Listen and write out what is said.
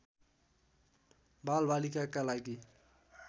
बालबालिकाका लागि